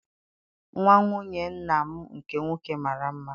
Nwa nwunye nna m nke nwoke mara mma